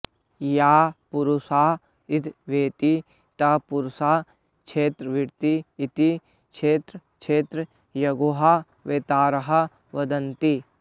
यः पुरुषः इदं वेत्ति तं पुरुषं क्षेत्रवित् इति क्षेत्रक्षेत्रज्ञयोः वेत्तारः वदन्ति